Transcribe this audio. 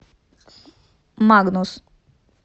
магнус